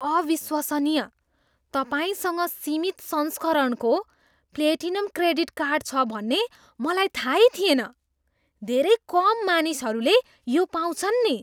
अविश्वसनीय! तपाईँसँग सीमित संस्करणको प्लेटिनम क्रेडिट कार्ड छ भन्ने मलाई थाहै थिएन। धेरै कम मानिसहरूले यो पाउँछन् नि।